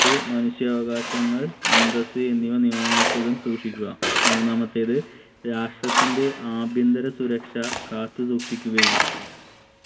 ത്ത് മനുഷ്യാവകാശങ്ങൾ അന്തസ്സ് എന്നിവ നിയമമനുസൃതം സൂക്ഷിക്കുക മൂന്നാമത്തേത് രാഷ്ട്രത്തിന്റെ ആഭ്യന്തര സുരക്ഷ കാത്തു സൂക്ഷിക്കുകയും